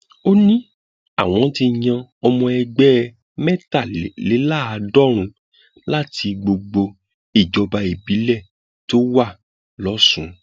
ó ní àwọn ti yan ọmọ ẹgbẹ mẹtàléláàádọrùnún láti gbogbo ìjọba ìbílẹ tó wà lọsùn